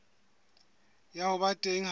ya ho ba teng ha